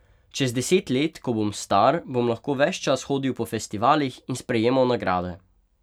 Čez deset let, ko bom star, bom lahko ves čas hodil po festivalih in sprejemal nagrade!